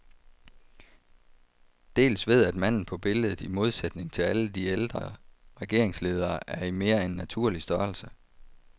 Dels ved at manden på billedet, i modsætning til alle de ældre regeringsledere, er i mere end naturlig størrelse.